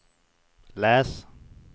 läs